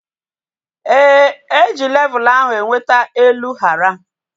Éè, eji levul ahu enweta elu hara